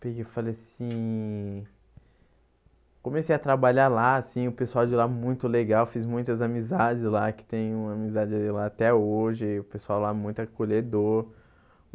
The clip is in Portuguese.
Peguei e Falei assim... Comecei a trabalhar lá assim, o pessoal de lá é muito legal, fiz muitas amizades lá, que tenho amizade de lá até hoje, o pessoal lá é muito acolhedor.